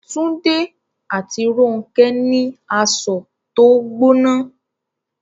Túndé àti Rónkẹ́ ní asọ̀ tó gbóná